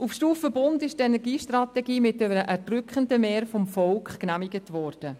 Auf Stufe Bund ist die Energiestrategie mit einem erdrückenden Mehr vom Volk genehmigt worden.